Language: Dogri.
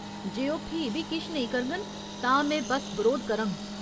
जे ओह् फ्ही बी किश नेईं करङन तां में बस्स बरोध करङ।